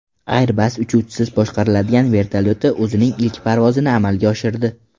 Airbus uchuvchisiz boshqariladigan vertolyoti o‘zining ilk parvozini amalga oshirdi.